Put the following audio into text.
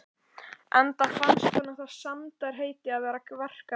Enda fannst honum það sæmdarheiti að vera verkamaður.